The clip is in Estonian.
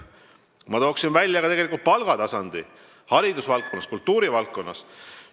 Ma toon välja ka palgataseme haridusvaldkonnas ja kultuurivaldkonnas.